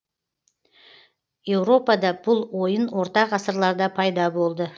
еуропада бұл ойын орта ғасырларда пайда болды